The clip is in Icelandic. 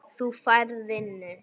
Þú færð vinnu.